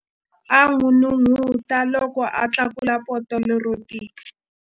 A n'unun'uta loko a tlakula poto lero tika.